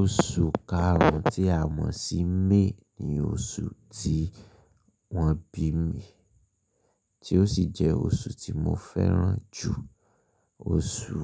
Oṣù karun tí a mọ̀ sí May ni oṣù tí wọ́n bí mi, tí ó sì jẹ́ oṣù tí mo fẹ́ràn jù. Oṣù,